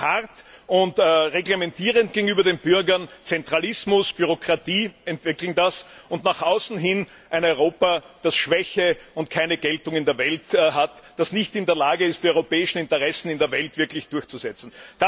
Nach innen hart und reglementierend gegenüber den Bürgern mit Zentralismus und Bürokratie, und nach außen hin ein Europa, das schwach ist und keine Geltung in der Welt hat, das nicht in der Lage ist, die europäischen Interessen in der Welt wirklich durchzusetzen.